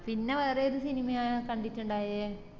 പിന്ന വേറേത് സിനിമയ കണ്ടിറ്റ്ണ്ടായെ